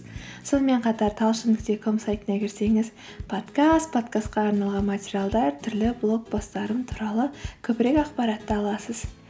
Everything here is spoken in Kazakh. сонымен қатар талшын нүкте ком сайтына кірсеңіз подкаст подкастқа арналған материалдар түрлі блог посттарым туралы көбірек ақпаратты аласыз